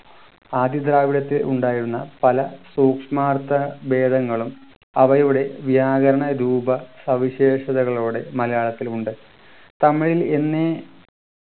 ആദി ദ്രാവിഡത്തിൽ ഉണ്ടായിരുന്ന പല സൂക്ഷ്മാർത്ഥ വേദങ്ങളും അവയുടെ വ്യാകരണ രൂപ സവിശേഷതകളോടെ മലയാളത്തിലുണ്ട് തമിഴിൽ എന്നേ